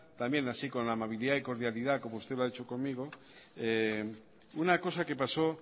también así con la amabilidad y cordialidad como usted lo ha hecho conmigo una cosa que pasó